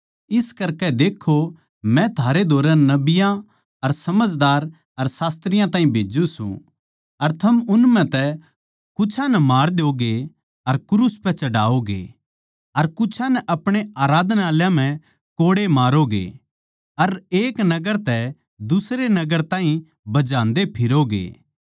इस करकै देक्खो मै थारै धोरै नबियाँ अर समझदार अर शास्त्रियाँ ताहीं भेज्जू सूं अर थम उन म्ह तै कुछां नै मार द्योगे अर क्रूस पै चढ़ावोगे अर कुछां नै अपणे आराधनालयाँ म्ह कोड़े मारोगे अर एक नगर तै दुसरे नगर ताहीं भजांदे फिरोगे